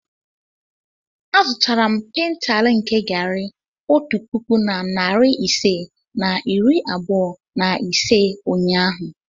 Azụtara m paintal nke garri otu puku na narị ise na iri abụọ na ise ụnyahụ.